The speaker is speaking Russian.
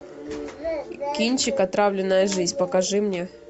кинчик отравленная жизнь покажи мне